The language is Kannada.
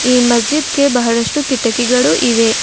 ಈ ಮಜೀದ್ ಗೆ ಬಹಳಷ್ಟು ಕಿಟಕಿಗಳು ಇವೆ.